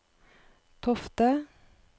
Tofte